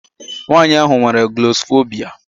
Nwaanyị ahụ nwere glọsọfobia.